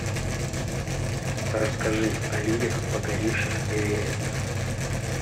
расскажи о людях покоривших эверест